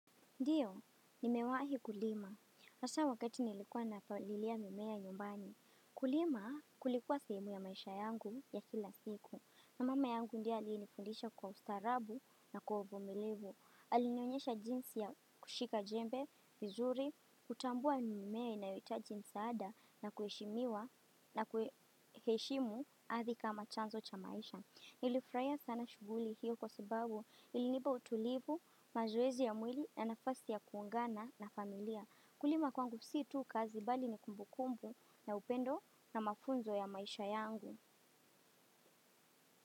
Ndiyo, nimewahi kulima. Hasa wakati nilikuwa napalilia mimea nyumbani. Kulima kulikuwa sehemu ya maisha yangu ya kila siku. Na mama yangu ndye aliyeinifundisha kwa ustaarabu na kwa uvumilivu. Alinionyesha jinsi ya kushika jembe vizuri, kutambua mimea inayoitaji msaada na kueshimiwa na kueshimu ardhi kama chanzo cha maisha. Nilifurahia sana shughuli hiyo kwa sababu ilinipa utulivu, mazoezi ya mwili na nafasi ya kuungana na familia. Kulima kwangu si tu kazi bali ni kumbukumbu na upendo na mafunzo ya maisha yangu.